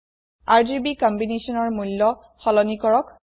RGB combinationৰ মূল্য সলনি কৰক